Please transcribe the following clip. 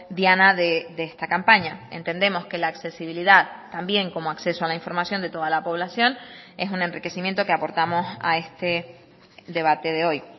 diana de esta campaña entendemos que la accesibilidad también como acceso a la información de toda la población es un enriquecimiento que aportamos a este debate de hoy